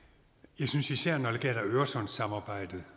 jeg synes især at når det gælder øresundssamarbejdet